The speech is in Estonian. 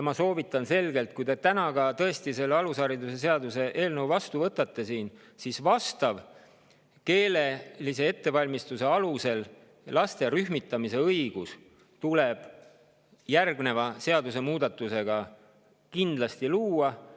Ma selgelt soovitan, et kui te selle alusharidusseaduse eelnõu täna tõesti vastu võtate, siis selline, mis lubab lapsi nende keelelise ettevalmistuse alusel rühmitada, tuleks järgmise seadusemuudatusega sellesse seadusesse kindlasti.